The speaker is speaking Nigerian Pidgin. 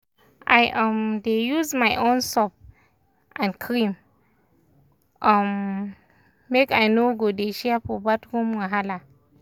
i um dey use my own soap and cream um make i no go dey share for bathroom wahala.